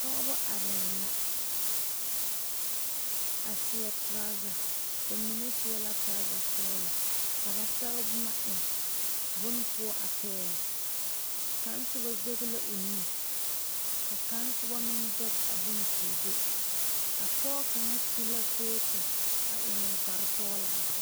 pɔgeba are la a seɛ turoze ba mine seɛ la turoze soɔlo ka ba sɛge boma eŋ bon poɔ a pɛle kaŋ soba zeɛŋe la o nu ka kaŋ soba mine seŋɛ a bon koo duo a pɔge suu la a kɔto a eŋ o kpaare soɔle poɔ